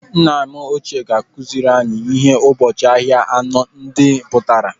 Nna m ochie ga-akụziri anyị ihe ụbọchị ahịa anọ ndị pụtara.